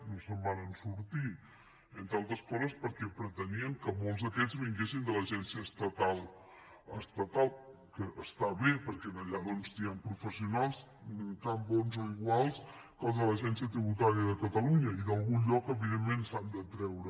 no se’n van sortir entre altres coses perquè pretenien que molts d’aquests vinguessin de l’agència estatal que està bé perquè allà hi ha professionals tan bons o iguals que els de l’agència tributària de catalunya i d’algun lloc evidentment s’han de treure